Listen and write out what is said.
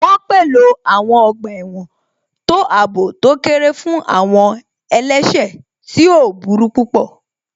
Wọ́n pèlò àwọn ọgbà ẹ̀wọ̀n tó àbò tó kéré fún àwọn àwọn ẹlẹ́sẹ̀ tí wọ́n ò burú púpọ̀